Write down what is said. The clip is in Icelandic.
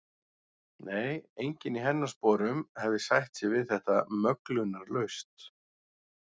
Nei, enginn í hennar sporum hefði sætt sig við þetta möglunarlaust.